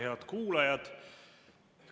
Head kuulajad!